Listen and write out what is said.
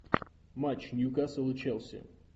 матч ньюкасл и челси